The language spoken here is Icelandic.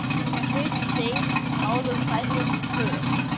Þegar hausinn deyr ráða fætur för.